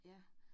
Ja